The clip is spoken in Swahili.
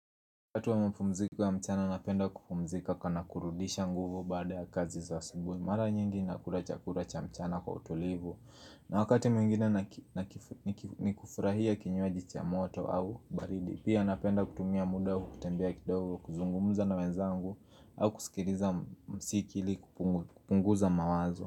Wakati wa mapumziko ya mchana napenda kupumzika na kurudisha nguvu baada ya kazi za asubuhi mara nyingi nakula chakula cha mchana kwa utulivu na wakati mwingine ni kufurahia kinywaji cha moto au baridi pia napenda kutumia muda wa kutembea kidogo kuzungumza na wenzangu au kusikiliza mziki ili kupunguza mawazo.